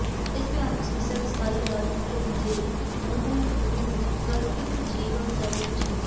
ਇਸ ਭਿਆਨਕ ਸਮੱਸਿਆ ਦਾ ਸਥਾਈ ਇਲਾਜ ਕੁਦਰਤ ਦੇ ਅਨੁਕੂਲ ਢੁਕਵੀਂ ਵਿਕਲਪਿਕ ਜੀਵਨ ਸ਼ੈਲੀ ਵਿਚ ਹੈ